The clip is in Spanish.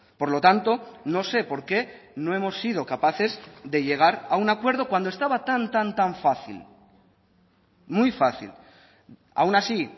por lo tanto no sé por qué no hemos sido capaces de llegar a un acuerdo cuando estaba tan tan tan fácil muy fácil aun así